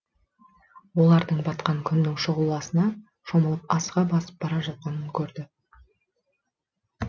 олардың батқан күннің шұғыласына шомылып асыға басып бара жатқанын көрді